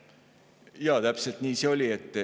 Jaa, täpselt nii see oli.